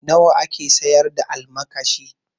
Nawa ake siyar da almakashi?